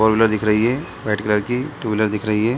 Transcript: Four wheeler दिख रही है व्हाइट कलर की टू व्हीलर दिख रही है।